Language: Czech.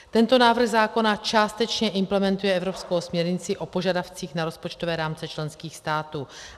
Tento návrh zákona částečně implementuje evropskou směrnici o požadavcích na rozpočtové rámce členských států.